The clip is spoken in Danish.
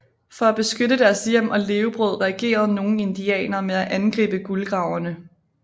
For at beskytte deres hjem og levebrød reagerede nogle indianere med at angribe guldgraverne